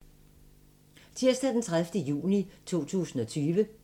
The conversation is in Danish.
Tirsdag d. 30. juni 2020